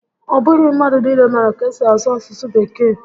Ọ bụghị mmadụ niile maara ka esi asụ asụsụ Bekee